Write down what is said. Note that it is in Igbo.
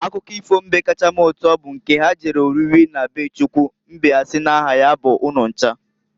Akụkọ ifo mbe kacha m uto bụ nke ha jere oriri na be Chukwu mbe asi n'aha ya bụ Ununcha.